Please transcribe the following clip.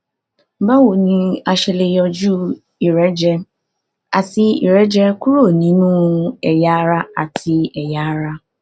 báwo ni a ṣe lè yọjú ìrẹjẹ àti ìrẹjẹ kúrò nínú ẹyà ara àti ẹyà ara